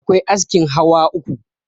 akwai askin hawa uku